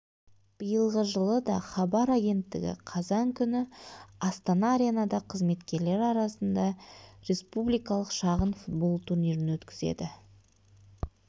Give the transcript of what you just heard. биылғы жылы да хабар агенттігі қазан күні астана аренада қызметкерлері арасында республикалық шағын футбол турнирін өткізеді